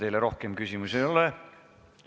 Teile rohkem küsimusi ei ole.